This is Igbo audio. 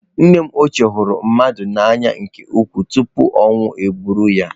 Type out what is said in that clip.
Nne m ochie hụrụ mmadụ n'anya nke ukwuu tupu ọnwụ eburu ya.